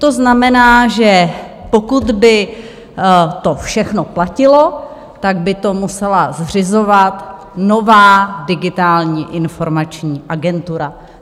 To znamená, že pokud by to všechno platilo, tak by to musela zřizovat nová Digitální informační agentura.